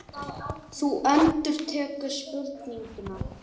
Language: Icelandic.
Þú endurtekur spurninguna.